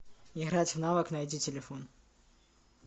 играть в навык найди телефон